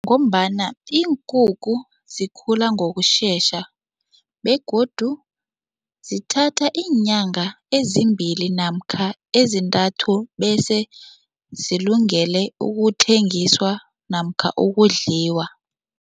Ngombana iinkukhu zikhula ngokusesha begodu zithatha iinyanga ezimbili namkha ezintathu bese zilungele ukuthengiswa namkha ukudliwa.